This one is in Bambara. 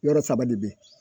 Yɔrɔ saba de be ye